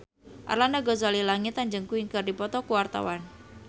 Arlanda Ghazali Langitan jeung Queen keur dipoto ku wartawan